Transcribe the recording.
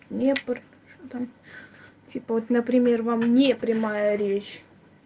днепр что там типа вот например вам не прямая речь